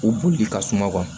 U b'u de ka suma